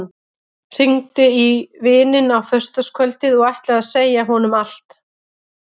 Hringdi í vininn á föstudagskvöldið og ætlaði að segja honum allt.